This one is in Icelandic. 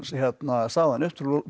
sagði hann upp